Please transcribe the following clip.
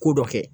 Ko dɔ kɛ